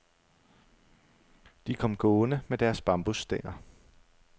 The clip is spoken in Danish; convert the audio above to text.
De kom gående med deres bambusstænger.